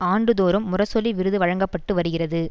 ஆண்டு தோறும் முரசொலி விருது வழங்க பட்டு வருகிறது